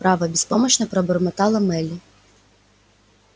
право беспомощно пробормотала мелли